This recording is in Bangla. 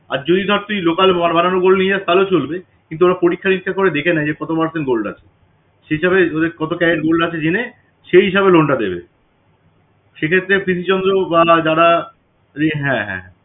আর যদি ধর তুই local বানানো gold নিয়ে যাস তাহলে চলবে কিন্তু ওরা পরীক্ষা নিরীক্ষা করে দেখে নেয় যে কত percent gold আছে সেটাতে কত carat gold আছে জেনে সেই হিসাবে loan টা দেবে। সেক্ষেত্রে পিসি চন্দ্র বা যারা হ্যাঁ হ্যাঁ